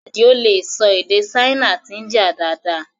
Adio lè sọ èdè Ṣáínà àti India dáadáa